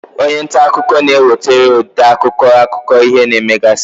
Onye nta akụkọ na-ewetere ode akụkọ, akụkọ ihe na-emegasị.